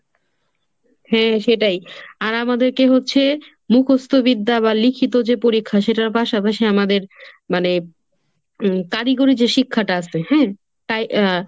হ্যাঁ সেটাই. আর আমাদেরকে হচ্ছে মুখস্ত বিদ্যা বা লিখিত যে পরীক্ষা সেটার পাশাপাশি আমাদের মানে উম কারিগরি যে শিক্ষাটা আছে হ্যাঁ তাই আহ